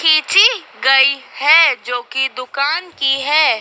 खींची गई है जो की दुकान की है।